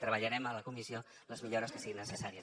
treballarem a la comissió les millores que siguin necessàries